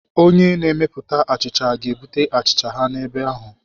Onye na-emepụta achicha ga-ebute achicha ha n'ebe ahụ.